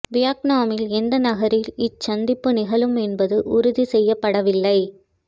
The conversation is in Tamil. வியட்னாமில் எந்த நகரில் இச்சந்திப்பு நிகழும் என்பது உறுதி செய்யப்படவில்லை